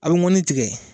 A bɛ mɔnni tigɛ